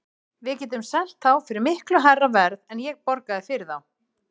Við getum selt þá fyrir miklu hærra verð en ég borgaði fyrir þá.